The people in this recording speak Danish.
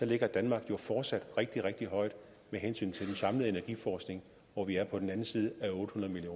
ligger danmark jo fortsat rigtig rigtig højt med hensyn til den samlede energiforskning hvor vi er på den anden side af otte hundrede